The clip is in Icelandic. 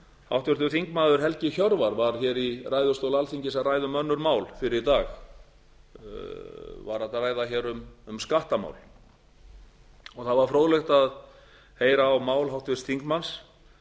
háttvirtur þingmaður helgi hjörvar var hér í ræðustól alþingis að ræða um önnur mál fyrr í dag var að ræða hér um skattamál það var fróðlegt að heyra á mál háttvirts þingmanns